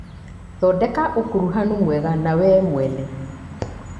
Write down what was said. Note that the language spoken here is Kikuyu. Thondeka ũkuruhanu mwega na wee mwene.